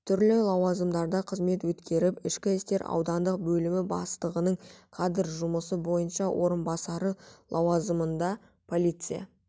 түрлі лауазымдарда қызмет өткеріп ішкі істер аудандық бөлімі бастығының кадр жұмысы бойынша орынбасары лауазымында полиция